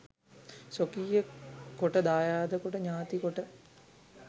ස්වකීය කොට දායාද කොට ඥාති කොට